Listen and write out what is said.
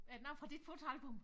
Er den oppe fra dit fotoalbum?